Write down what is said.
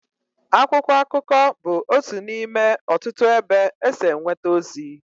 Akwụkwọ akụkọ bụ otu n'ime ọtụtụ ebe e si enweta ozi.